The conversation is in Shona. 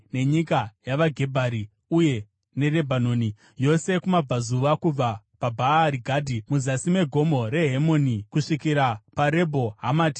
nenyika yavaGebhari, uye neRebhanoni yose kumabvazuva, kubva paBhaari Gadhi muzasi meGomo reHemoni, kusvikira paRebho Hamati.